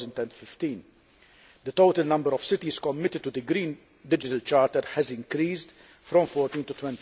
2015. The total number of cities committed to the Green Digital Charter has increased from 14 to